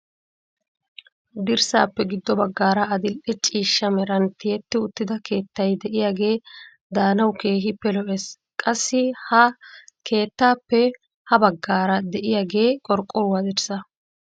Dirssaappe giddo baggaara adil'e ciishsha meran tiyetti uttida keettay de'iyaagee daanawu keehippe lo"ees. qassi ha keettappe ha baggaara de'iyaagee qorqqorwaa dirssaa.